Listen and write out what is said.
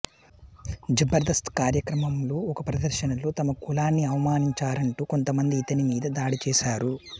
జబర్దస్త్ కార్యక్రమంలో ఒక ప్రదర్శనలో తమ కులాన్ని అవమానించారంటూ కొంతమంది ఇతని మీద దాడి చేశారు